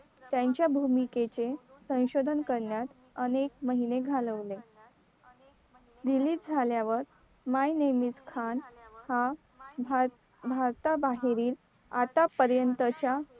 त्यांच्या भूमिकेचे संशोधन करण्यास अनेक महिने घालवले release झाल्यावर my name is khan हा भारताबाहेरील आतापर्यंतचा